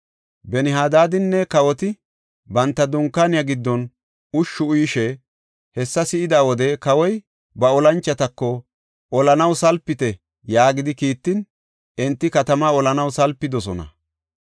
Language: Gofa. Ben-Hadaadinne kawoti, banta dunkaaniya giddon ushshu uyishe hessa si7ida wode kawoy ba olanchotako, “Olanaw salpite” yaagidi kiittin, enti katamaa olanaw salpidosona.